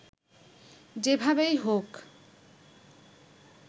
যেভাবেই হোক